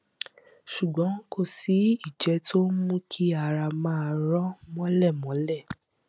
ṣùgbọn kò sí ìjẹ tó ń mú kí ara máa rọ mọlẹ mọlẹ